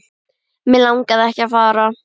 Mig langaði ekki að fara.